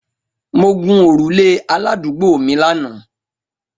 Mo gun orule aladuugbo mi lana